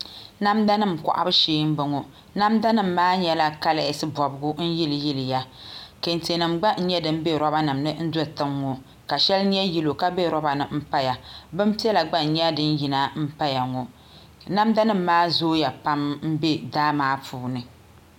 Namda nim kohabu shee n boŋo namda nim maa nyɛla kaleesi bobgu n yiliya kantɛ nim gba n nyʋ din bɛ roba nim ni n do tiŋ ŋo ka shɛli nyɛ yɛlo ka bɛ roba ni n paya binpiɛla n nyɛ din gba yina paya ŋo namda nim maa zooya pam n bɛ daa maa puuni